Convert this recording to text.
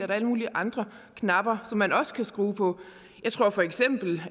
der alle mulige andre knapper som man også kan trykke på